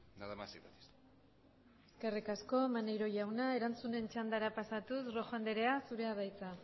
nada más y muchas gracias eskerrik asko maneiro jauna erantzunen txandara pasatuz rojo andrea zurea da hitza